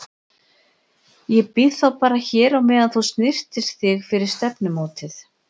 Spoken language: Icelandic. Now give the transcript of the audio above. Ég bíð þá bara hér á meðan þú snyrtir þig fyrir stefnumótið.